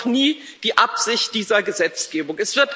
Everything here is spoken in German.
Das war auch nie die Absicht dieser Gesetzgebung